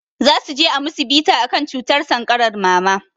Zasuje a musu bita akan cutar sankarar mama